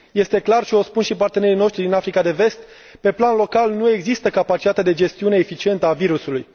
Este clar și o spun și partenerii noștri din Africa de Vest pe plan local, nu există capacitatea de gestiune eficientă a virusului.